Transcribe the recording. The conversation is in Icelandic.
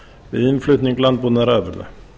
við innflutning landbúnaðarafurða